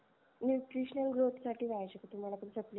nutritional growth साठी पहिजे का तुम्हाला ते supplement